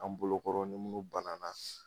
An bolo kɔrɔ nin mun bananan.